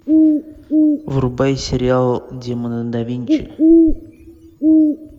врубай сериал демоны да винчи